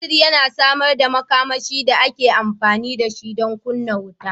Batir yana samar da makamashi da ake amfani da shi don kunna mota